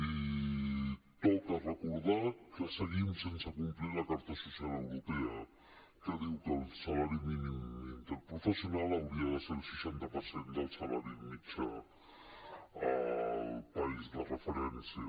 i toca recordar que seguim sense complir la carta social europea que diu que el salari mínim interprofessional hauria de ser el seixanta per cent del salari mitjà al país de referència